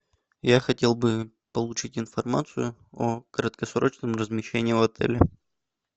я хотел бы получить информацию о краткосрочном размещении в отеле